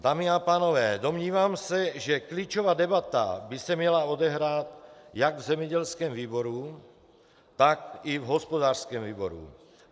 Dámy a pánové, domnívám se, že klíčová debata by se měla odehrát jak v zemědělském výboru, tak i v hospodářském výboru.